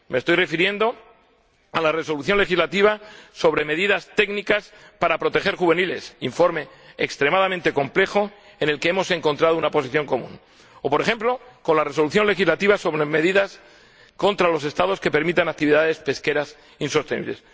Me estoy refiriendo a la Resolución legislativa sobre medidas técnicas de protección de los juveniles, informe extremadamente complejo en el que hemos encontrado una posición común, o, por ejemplo, la Resolución legislativa sobre medidas contra los Estados que permitan actividades pesqueras insostenibles.